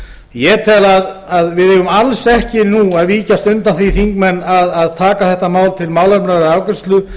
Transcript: ég tel að við eigum alls ekki að víkjast undan því háttvirtir þingmenn að taka þetta mál til málefnalegrar afgreiðslu